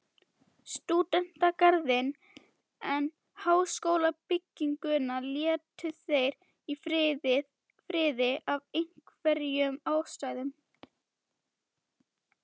Stúdentagarðinn, en háskólabygginguna létu þeir í friði af einhverjum ástæðum.